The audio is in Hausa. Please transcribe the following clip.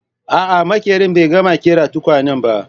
A'a maƙerin bai gama ƙera tukwanen ba